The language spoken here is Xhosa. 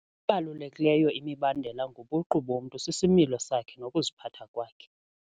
Ebalulekileyo imibandela ngobuqu bomntu sisimilo sakhe nokuziphatha kwakhe.